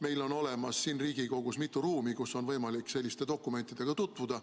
Meil on siin Riigikogus mitu ruumi, kus on võimalik selliste dokumentidega tutvuda.